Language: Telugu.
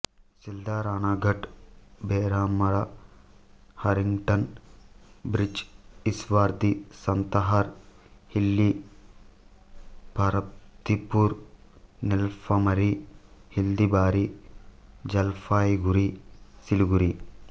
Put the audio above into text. Sealdah Ranaghat Bheramara Harrington bridge Ishwardi Santahar Hili Parbatipur Nilphamari Haldibari Jalpaiguri Siliguri